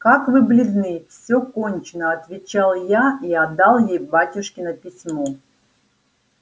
как вы бледны всё кончено отвечал я и отдал ей батюшкино письмо